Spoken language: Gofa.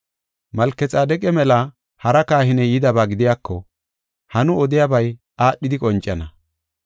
Malkexaadeqa mela hara kahiney yidaba gidiyako ha nu odiyabay aadhidi qoncana.